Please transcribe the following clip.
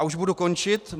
A už budu končit.